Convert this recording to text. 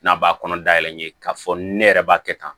N'a b'a kɔnɔ dayɛlɛ n ye k'a fɔ ne yɛrɛ b'a kɛ tan